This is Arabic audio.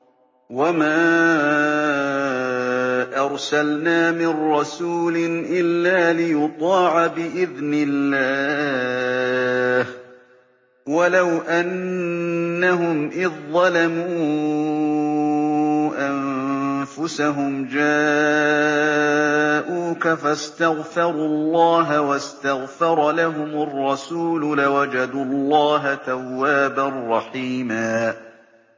وَمَا أَرْسَلْنَا مِن رَّسُولٍ إِلَّا لِيُطَاعَ بِإِذْنِ اللَّهِ ۚ وَلَوْ أَنَّهُمْ إِذ ظَّلَمُوا أَنفُسَهُمْ جَاءُوكَ فَاسْتَغْفَرُوا اللَّهَ وَاسْتَغْفَرَ لَهُمُ الرَّسُولُ لَوَجَدُوا اللَّهَ تَوَّابًا رَّحِيمًا